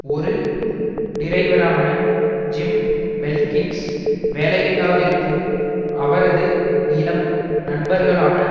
ஒரு டிரைவரான Jim Belkins வேலையில்லாதிருக்கும் அவரது இளம் நண்பர்களான